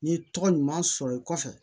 N'i ye tɔgɔ ɲuman sɔrɔ i kɔfɛ